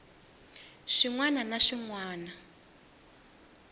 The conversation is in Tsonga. swin wana na swin wana